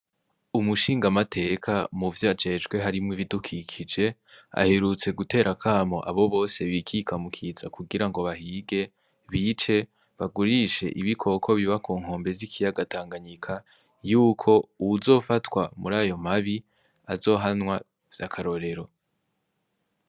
Umushingamateka mu vyajejwe harimwo ibidukikije ahirutse gutera kamo abo bose bikika mukiza kugira ngo bahige bice bagurishe ibikoko biba ku nkombe z'ikiyagatanganyika yuko uwuzofatwa muri ayo mabi azohanwa vy'akarorero.